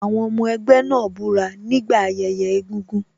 Àwọn ọmọ ẹgbẹ́ náà búra nígbà ayẹyẹ egúngún.